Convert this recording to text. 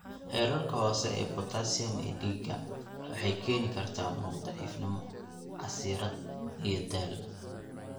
Heerarka hoose ee potassium ee dhiiga (hypokalemiha) waxay keeni kartaa muruq daciifnimo, casiraad, iyo daal.